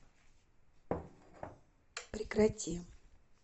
прекрати